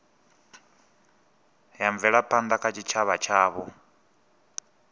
ya mvelaphanda kha tshitshavha tshavho